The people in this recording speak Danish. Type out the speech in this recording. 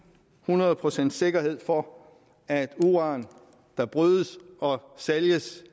hundrede procents sikkerhed findes for at uran der brydes og sælges